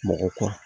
Mɔgɔ kura